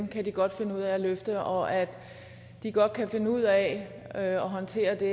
kan de godt finde ud af at løfte og at de godt kan finde ud af at håndtere det